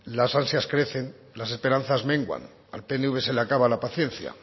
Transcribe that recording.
las ansias crecen las esperanzas menguan al pnv se le acaba la paciencia